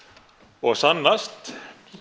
og sannast